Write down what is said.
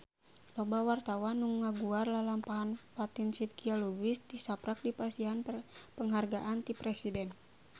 Loba wartawan anu ngaguar lalampahan Fatin Shidqia Lubis tisaprak dipasihan panghargaan ti Presiden